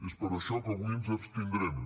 és per això que avui ens abstindrem